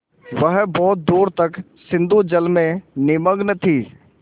वह बहुत दूर तक सिंधुजल में निमग्न थी